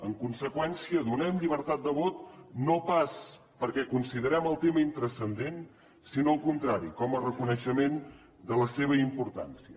en conseqüència donem llibertat de vot no pas perquè considerem el tema intranscendent sinó al contrari com a reconeixement de la seva importància